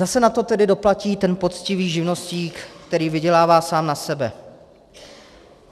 Zase na to tedy doplatí ten poctivý živnostník, který vydělává sám na sebe.